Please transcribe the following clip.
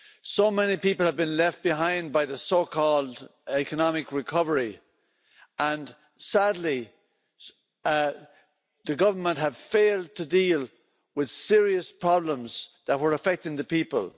So many people have been left behind by the so called economic recovery', and sadly, the government have failed to deal with serious problems that were affecting the people.